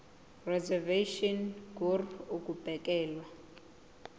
reservation ngur ukubekelwa